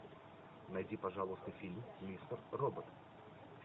найди пожалуйста фильм мистер робот